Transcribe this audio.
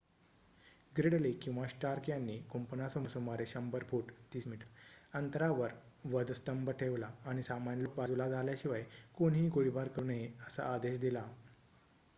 ग्रिडले किंवा स्टार्क यांनी कुंपणासमोर सुमारे १०० फूट ३० मी अंतरावर वधस्तंभ ठेवला आणि सामान्य लोक बाजूला झाल्याशिवाय कोणीही गोळीबार करू नये असा आदेश दिला